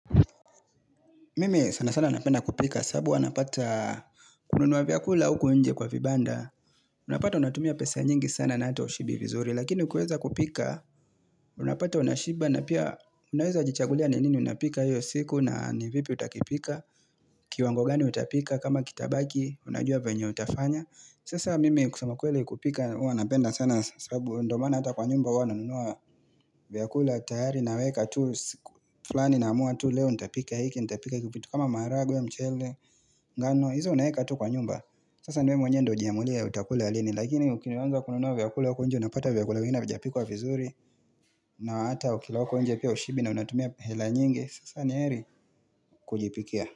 Mimi sana sana napenda kupika sababu huwa napata kununuwa vyakula huku nje kwa vibanda. Unapata unatumia pesa nyingi sana na ata ushibi vizuri. Lakini ukiweza kupika, unapata unashiba na pia unapata jichagulia ni nini unapika hiyo siku na ni vipi utakipika. Kiwango gani utapika kama kitabaki, unajua vanye utafanya. Sasa mimi kusema kweli kupika huwa napenda sana sababu ndo maana hata kwa nyumba wano nanunua vyakula tayari naweka tu. Fulani naamua tu leo nitapika hiki, nitapika hiki vitu kama maharagwe, mchele, ngano, hizo unaeka tu kwa nyumba sasa mimi mwenyewe ndo ujiamulia ya utakule halini, lakini ukini wangu akinunua vyakula huku nje, unapata vyakula vingine havijapikwa vizuri na hata ukila uko nje pia ushibi na unatumia hela nyingi sasa ni heri kujipikia.